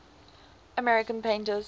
american painters